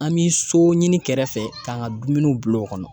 An bi so ɲini kɛrɛfɛ k'an ka dumuniw bilo kɔnɔ.